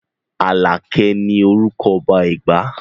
Aláké ní orúkọ ọba Ẹ̀gbá